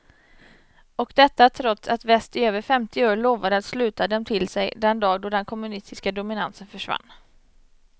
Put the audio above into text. Och detta trots att väst i över femtio år lovade att sluta dem till sig den dag då den kommunistiska dominansen försvann.